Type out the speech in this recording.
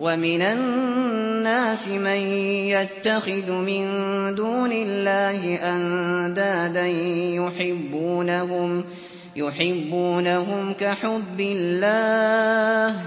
وَمِنَ النَّاسِ مَن يَتَّخِذُ مِن دُونِ اللَّهِ أَندَادًا يُحِبُّونَهُمْ كَحُبِّ اللَّهِ ۖ